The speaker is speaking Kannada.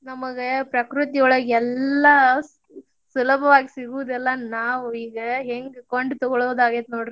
ನಮಗ ಪ್ರಕೃತಿಯೊಳಗ್ ಎಲ್ಲಾ ಸುಲಭವಾಗಿ ಸಿಗುದೆಲ್ಲಾ ನಾವ್ ಈಗ ಹೆಂಗ್ ಕೊಂಡ್ ತಗೋಳುದಾಗೇತಿ ನೋಡ್ರಿ.